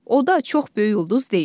O da çox böyük ulduz deyil.